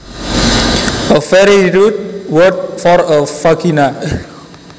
A very rude word for a vagina